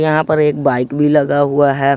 यहां पर एक बाइक भी लगा हुआ है।